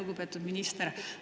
Lugupeetud minister!